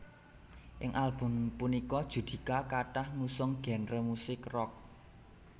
Ing album punika Judika kathah ngusung genre musik rock